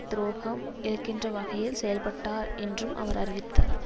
துரோகம் இழைக்கின்ற வகையில் செயல்பட்டார் என்றும் அவர் அறிவித்தார்